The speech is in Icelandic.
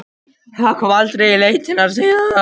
Það kom aldrei í leitirnar síðar.